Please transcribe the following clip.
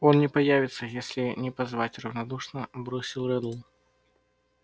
он не появится если не позвать равнодушно бросил реддл